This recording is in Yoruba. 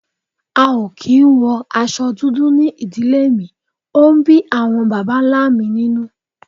a o ki n wo aṣọ dudu ní ìdílé mí, o n bí awọn bàbá ńlá mí ninú